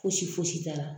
Fosi foyisi t'a la